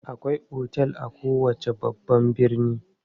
Akwai otel a kowace babban birni.